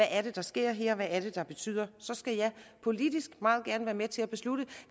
er der sker her hvad det er det betyder så skal jeg politisk meget gerne være med til at beslutte